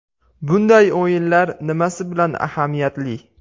Bunday o‘yinlar nimasi bilan ahamiyatli?